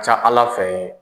Ca ALA fɛ.